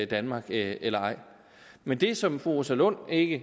danmark eller ej men det som fru rosa lund ikke